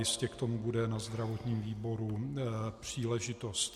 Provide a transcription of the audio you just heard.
Jistě k tomu bude na zdravotním výboru příležitost.